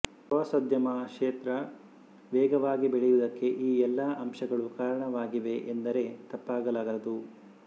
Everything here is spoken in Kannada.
ಪ್ರವಾಸೋದ್ಯಮ ಕ್ಷೇತ್ರ ವೇಗವಾಗಿ ಬೆಳೆಯುವುದಕ್ಕೆ ಈ ಎಲ್ಲಾ ಅಂಶಗಳು ಕಾರಣವಾಗಿವೆ ಎಂದರೆ ತಪ್ಪಾಗಲಾರದು